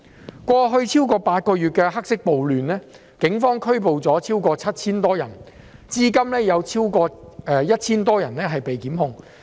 在過去超過8個月的黑色暴亂中，警方拘捕了超過 7,000 人，至今有超過 1,000 人被檢控。